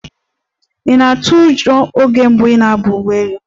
Ị̀ na-atụ ụjọ oge mbụ ị na-agba ụgbọ elu?